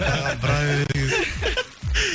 маған бұра береді екенсің